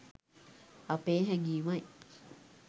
අපේ හැඟීමයි.